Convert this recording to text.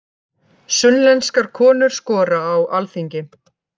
Sunnlenskar konur skora á Alþingi